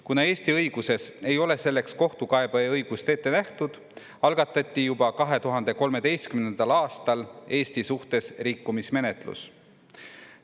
Kuna Eesti õiguses ei ole selleks kohtukaebeõigust ette nähtud, algatati juba 2013. aastal Eesti suhtes rikkumismenetlus.